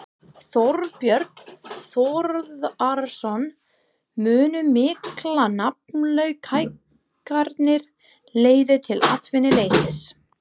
Þorbjörn Þórðarson: Munu miklar nafnlaunahækkanir leiða til atvinnuleysis?